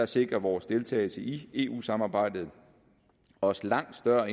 sikrer vores deltagelse i eu samarbejdet os langt større